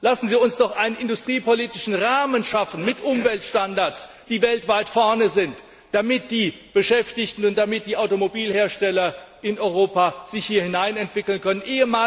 Lassen Sie uns doch einen industriepolitischen Rahmen schaffen mit Umweltstandards, die weltweit führend sind, damit die Beschäftigten und die Automobilhersteller in Europa sich hier hineinentwickeln können.